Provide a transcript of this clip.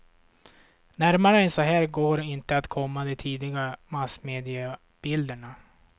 Närmare än så här går inte att komma de tidiga massmediebilderna.